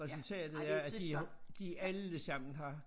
Resultatet er at de har de alle sammen har